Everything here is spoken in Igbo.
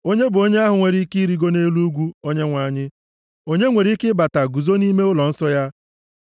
Onye bụ onye ahụ nwere ike irigo nʼelu ugwu Onyenwe anyị? Onye nwere ike ịbata guzo nʼime ụlọnsọ ya?